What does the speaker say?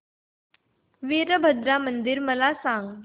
वीरभद्रा मंदिर मला सांग